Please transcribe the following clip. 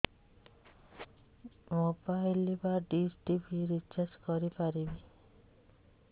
mobile ବା dish TV recharge କରି ପାରିବି